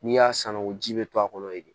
N'i y'a san o ji bɛ to a kɔnɔ yen de